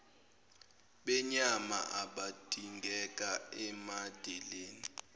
benyama abadingeka emadeleni